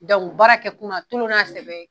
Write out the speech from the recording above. u baara kɛ kunna tulonna sɛbɛ ye.